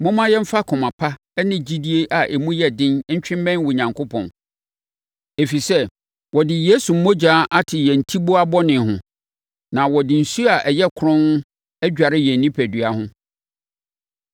Momma yɛmfa akoma pa ne gyidie a emu yɛ den ntwe mmɛn Onyankopɔn. Ɛfiri sɛ wɔde Yesu mmogya ate yɛn atiboa bɔne ho, na wɔde nsuo a ɛyɛ kronn adware yɛn onipadua ho.